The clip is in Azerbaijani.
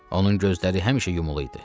Onun gözləri həmişə yumulu idi.